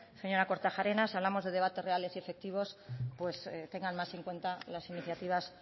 señora kortajarena si hablamos de debates reales y efectivos pues tengan más en cuenta las iniciativas